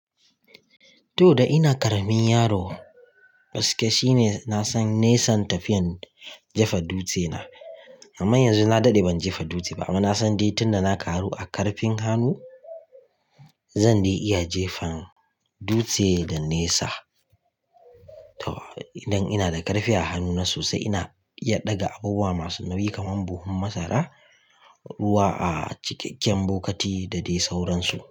To, da ina ƙaramin yaro gaskiya shine na san nisan tafiyan jefa dutse na. Amma yanzu na daɗe ban jefa dutse ba, amma na san dai tun da na ƙaru a ƙarfin hannu zan dai iya jefan dutse da nesa. To, idan ina da ƙarfi a hannuna sosai ina iya ɗaga abubuwa masu nauyi kamar buhun masara, ruwa a cikakken bokati da dai sauransu.